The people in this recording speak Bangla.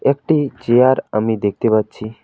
একটি চেয়ার আমি দেখতে পারছি।